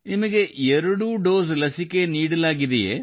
ನಿಮಗೆ ಎರಡೂ ಡೋಸ್ ಲಸಿಕೆ ನೀಡಲಾಗಿದೆಯೇ